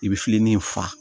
I bɛ filennin fa